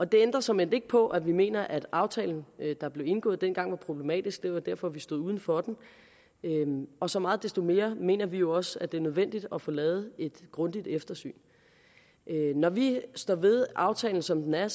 det ændrer såmænd ikke på at vi mener at aftalen der blev indgået dengang var problematisk det var derfor vi stod uden for den og så meget desto mere mener vi jo også at det er nødvendigt at få lavet et grundigt eftersyn når vi står ved aftalen som den er